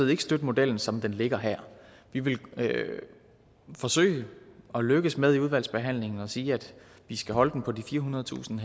ikke støtte modellen som den ligger her vi vil forsøge at lykkes med i udvalgsbehandlingen at sige at vi skal holde den på de firehundredetusind